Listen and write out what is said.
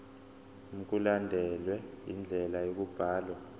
mkulandelwe indlela yokubhalwa